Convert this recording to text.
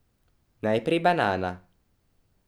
Najprej banana.